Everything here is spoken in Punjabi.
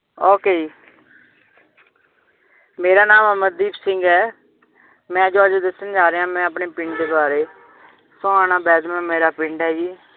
ok ਜੀ ਮੇਰਾ ਨਾਮ ਅਮਰਦੀਪ ਸਿੰਘ ਹੈ ਮੈ ਜੋ ਅੱਜ ਦੱਸਣ ਜਾਰ੍ਹਿਆਂ ਆਪਣੇ ਪਿੰਡ ਬਾਰੇ ਸੋਹਾਣਾ ਮੇਰਾ ਪਿੰਡ ਹੈ ਜੀ